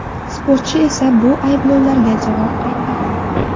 Sportchi esa bu ayblovlarga javob qaytardi .